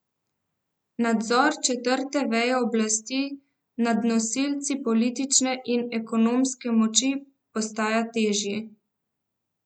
Nadzor četrte veje oblasti nad nosilci politične in ekonomske moči postaja težji.